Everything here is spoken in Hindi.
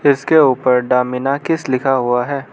इसके ऊपर द मीनाकिस लिखा हुआ है।